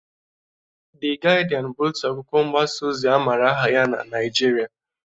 De Gịdịan bụ otu akwụkwọ mgbasa ozi amara aha ya na na Nịajịrịa.